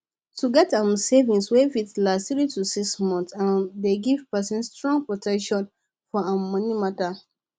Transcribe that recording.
to get um savings wey fit last 3 to 6 months um dey give person strong protection for um money matter